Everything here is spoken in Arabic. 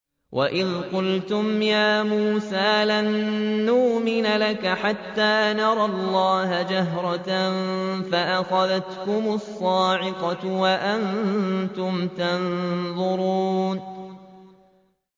وَإِذْ قُلْتُمْ يَا مُوسَىٰ لَن نُّؤْمِنَ لَكَ حَتَّىٰ نَرَى اللَّهَ جَهْرَةً فَأَخَذَتْكُمُ الصَّاعِقَةُ وَأَنتُمْ تَنظُرُونَ